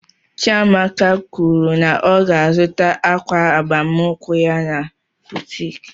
Chiamaka kwụrụ na ọ ga azụta akwa agbamnkwu ya na boutiki.